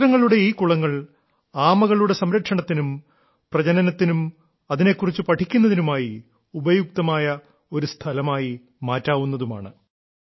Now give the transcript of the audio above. ക്ഷേത്രങ്ങളുടെ ഈ കുളങ്ങൾ ആമകളുടെ സംരക്ഷണത്തിനും പ്രജനനത്തിനും അതിനെക്കുറിച്ചു പഠിക്കുന്നതിനുമായി ഉപയുക്തമായ ഒരു സ്ഥലമായി മാറ്റാവുന്നതുമാണ്